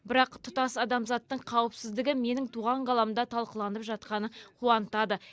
бірақ тұтас адамзаттың қауіпсіздігі менің туған қаламда талқыланып жатқаны қуантады